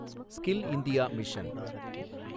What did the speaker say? skill India mission